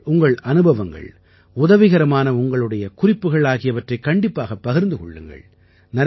நீங்கள் உங்கள் அனுபவங்கள் உதவிகரமான உங்களுடைய குறிப்புகள் ஆகியவற்றைக் கண்டிப்பாகப் பகிர்ந்து கொள்ளுங்கள்